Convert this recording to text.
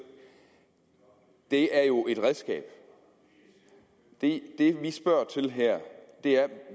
er jo et redskab det vi spørger til her er